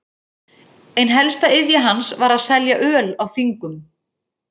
Ein helsta iðja hans var að selja öl á þingum.